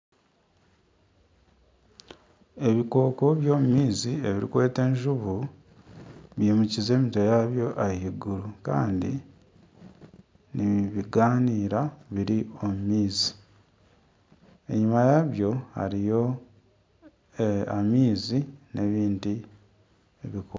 Ebikooko by'omu maizi ebirikwetwa enjubu bimukize emitwe yabyo ahaiguru kandi nibigaanira biri omu maizi enyima yabyo hariyo amaizi n'ebindi bikooko